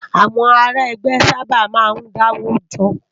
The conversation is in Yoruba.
Awòn àrá ègbè sàbá má n dá ówó jò